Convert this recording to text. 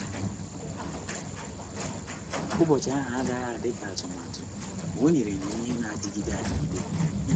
Ụbọchị ahụ agaghị dị ka atụmatụ, ma o nyere m ihe na-adịgide adịgide.